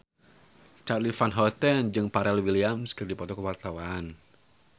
Charly Van Houten jeung Pharrell Williams keur dipoto ku wartawan